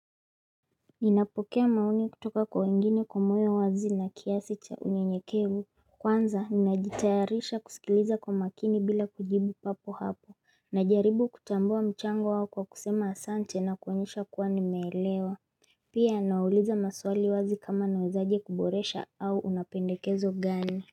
Ninapokea maoni kutoka kwa wengine kwa moyo wazi na kiasi cha unye nyekevu Kwanza ninajitayarisha kusikiliza kwa makini bila kujibu papo hapo na jaribu kutambua mchango wao kwa kusema asante na kuonyesha kuwa nimeelewa Pia nawauliza maswali wazi kama nawezaje kuboresha au unapendekezo gani.